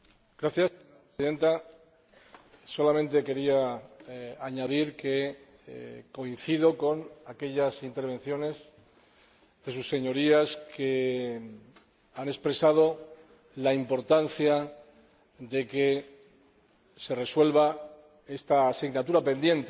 Señora Presidenta, solamente quería añadir que coincido con aquellas intervenciones de Sus Señorías que han expresado la importancia de que se resuelva esta asignatura pendiente